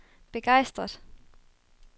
begejstret